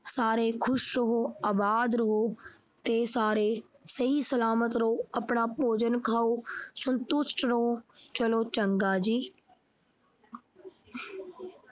ਸਾਰੇ ਖੁਸ਼ ਰਹੋ ਆਬਾਦ ਰਹੋ ਤੇ ਸਾਰੇ ਸਹੀ ਸਲਾਮਤ ਰਹੋ ਆਪਣਾ ਭੋਜਨ ਖਾਉ ਸੰਤੁਸ਼ਟ ਰਹੋ ਚਲੋ ਚੰਗਾ ਜੀ।